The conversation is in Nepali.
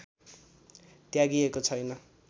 त्यागिएको छैन